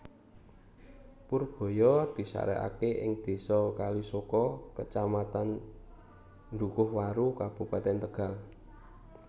Purbaya disarekake ing désa Kalisoka Kacamatan Dhukuhwaru Kabupatèn Tegal